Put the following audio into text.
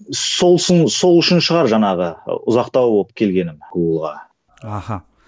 сол үшін шығар жаңағы ы ұзақтау болып келгенім гугл ға аха